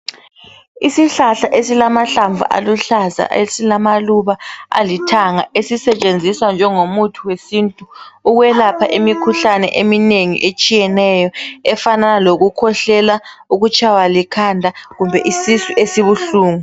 Isihlahla esilamahlamvu aluhlaza esilamaluba alithanga esisetshenziswa njengo muthi wesintu ukwelapha imikhuhlane eminengi etshiyeneyo, efanana lokukhwehlela, ukutshaywa likhanda kumbe isisu esibuhlungu.